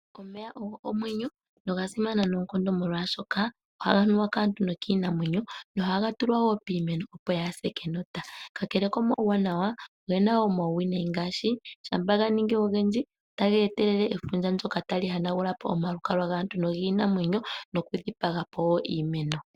Omeya ogo omwenyo noga simana noonkondo molwaashoka ohaga nuwa kaantu nokiinamwenyo nohaga tulwa wo piimeno opo yaase enota. Kakele komauwanawa oge na wo omauwinayi ngaashi shampa ga ningi ogendji otage etelele efundja ndoka tali hanagula po omalukalwa gaantu nogiinamwenyo nokudhipaga po wo iimeno.